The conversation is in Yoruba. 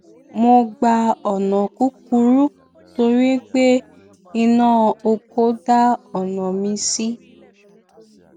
mo gba ònà kúkúrú torí pé iná ọkọ dá ọnà mí ṣí